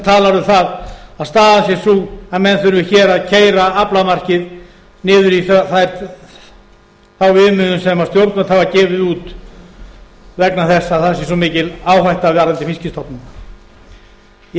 talar um það að staðan sé sú að menn þurfi hér að keyra aflamarkið niður í þá viðmiðun sem stjórnvöld hafa gefið út vegna þess að það sé svo mikil áhætta varðandi fiskstofnana ég